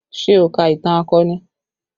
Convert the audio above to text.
Ṣé o ka ìtàn akọni?